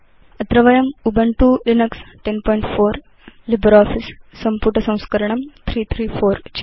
अत्र वयं Ubuntu Linux 1004 LibreOffice सम्पुटसंस्करणं 334